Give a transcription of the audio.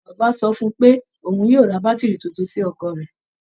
Bàbá sọ pé òun yóò ra bátìrì tuntun sí ọkọ̀ rẹ̀